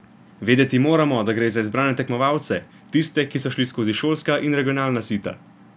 Vedeti moramo, da gre za izbrane tekmovalce, tiste, ki so šli skozi šolska in regionalna sita.